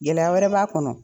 Gɛlɛya wɛrɛ b'a kɔnɔ.